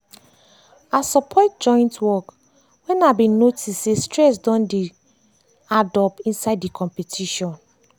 i support joint work when i been notice say stress don dey don dey addup inside the competition.